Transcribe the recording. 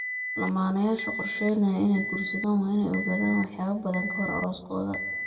Lamaanayaasha qorsheynaya inay guursadaan waa inay ogaadaan waxyaabo badan ka hor arooskooda.